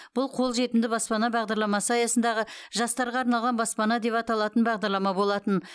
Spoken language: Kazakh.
бұл қолжетімді баспана бағдарламасы аясындағы жастарға арналған баспана деп аталатын бағдарлама болатын